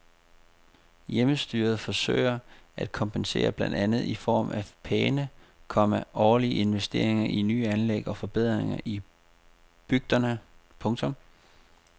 Hjemmestyret forsøger at kompensere blandt andet i form af pæne, komma årlige investeringer i nye anlæg og forbedringer i bygderne. punktum